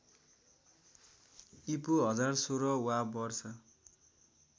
ईपू १०१६ वा वर्ष